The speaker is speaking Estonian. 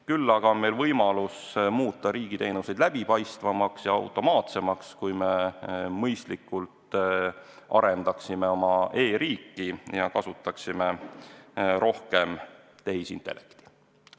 Küll aga on võimalik muuta riigiteenuseid läbipaistvamaks ja automaatsemaks, kui me mõistlikult arendaksime oma e-riiki ja kasutaksime rohkem tehisintellekti.